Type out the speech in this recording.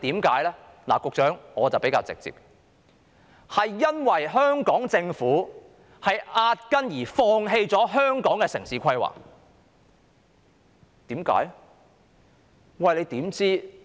局長，我說得比較直接，這是因為香港政府壓根兒放棄了香港的城市規劃，為甚麼呢？